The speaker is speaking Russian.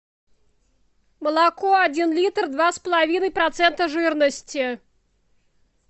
молоко один литр два с половиной процента жирности